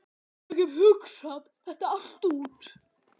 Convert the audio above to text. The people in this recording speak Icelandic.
Ég hef hugsað þetta allt út.